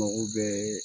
Mago bɛɛ